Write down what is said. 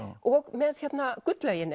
og með hérna